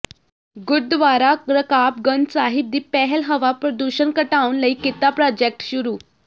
ਗੁਰਦਵਾਰਾ ਰਕਾਬਗੰਜ ਸਾਹਿਬ ਦੀ ਪਹਿਲ ਹਵਾ ਪ੍ਰਦੂਸ਼ਣ ਘਟਾਉਣ ਲਈ ਕੀਤਾ ਪ੍ਰਾਜੈਕਟ ਸ਼ੁਰੂ